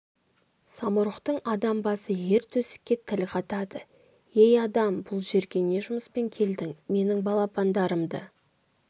самұрықтың адам басы ер төстікке тіл қатады ей адам бұл жерге не жұмыспен келдің менің балапандарымды